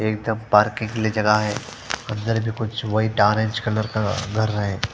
एक दम पार्किंग की जगह है अंदर भी कुछ वही टारेंज कलर का घर है--